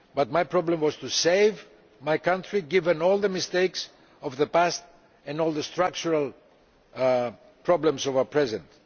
my problem was to save my country, given all the mistakes of the past and all the structural problems of the present.